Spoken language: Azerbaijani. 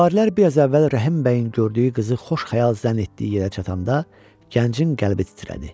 Süvarilər biraz əvvəl Rəhim bəyin gördüyü qızı xoş xəyal zənn etdiyi yerə çatanda gəncin qəlbi titrədi.